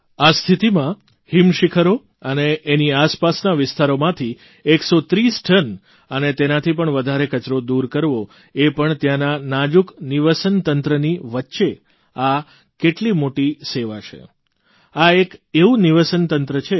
આ સ્થિતિમાં હિમશીખરો અને એની આસપાસના વિસ્તારોમાંથી 130 ટન અને તેનાથી પણ વધારે કચરો દૂર કરવો એ પણ ત્યાંના નાજૂક નિવસનતંત્રની વચ્ચે આ કેટલી મોટી સેવા છે આ એક એવું નિવસનતંત્ર છે